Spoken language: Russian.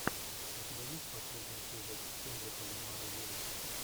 у тебя есть последний эпизод кендрика ламара виво